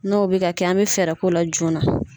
N'o bɛ ka kɛ an bɛ fɛɛrɛ ko la joona.